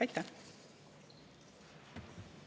Aitäh!